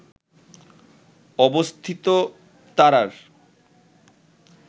অবস্থিত তারার